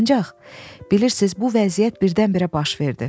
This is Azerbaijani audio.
Ancaq bilirsiz bu vəziyyət birdən-birə baş verdi.